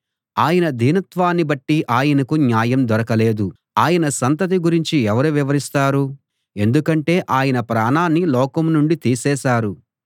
ఆయన దీనత్వాన్ని బట్టి ఆయనకు న్యాయం దొరకలేదు ఆయన సంతతి గురించి ఎవరు వివరిస్తారు ఎందుకంటే ఆయన ప్రాణాన్ని లోకం నుండి తీసేసారు